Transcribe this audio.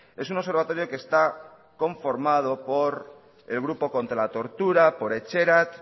es un observatorio que está conformado por el grupo contra la tortura por etxerat